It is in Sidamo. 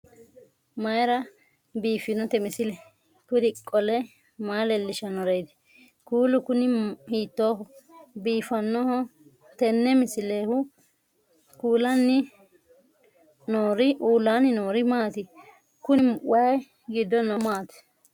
mayra biiffinote misile? kuri qole maa leellishannoreeti? kuulu kuni hiittooho biifannoho tenne misilehu? uullaanni noori maati? kuni wayi giddo noohu maati